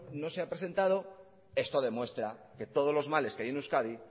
no se ha presentado esto demuestra que todos los males que hay en euskadi